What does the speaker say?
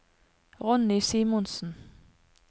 Ronny Simonsen